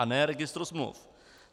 A ne registru smluv.